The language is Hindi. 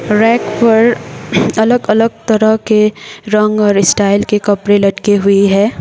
रैक पर अलग अलग तरह के रंग और स्टाइल के कपड़े लटकी हुई है।